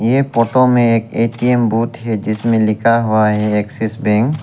ये फोटो में एक ए_टी_एम बोट है जिसमें लिखा हुआ है एक्सिस बैंक ।